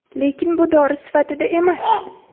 Lekin bu dori sifatida emas.